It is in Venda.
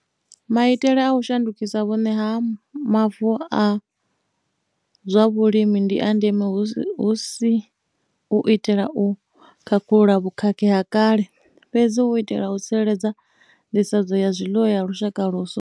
Maitele a u shandukisa vhuṋe ha mavu a zwa vhulimi ndi a ndeme hu si u itela u khakhulula vhukhakhi ha kale, fhedzi na u itela u tsireledza nḓisedzo ya zwiḽiwa ya lushaka lwashu.